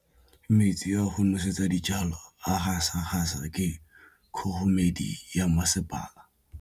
Metsi a go nosetsa dijalo a gasa gasa ke kgogomedi ya masepala.